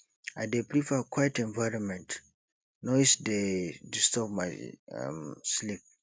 i dey prefer quiet environment noise dey disturb my um sleep